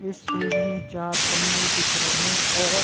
इस चार तम्बू दिख रहे और --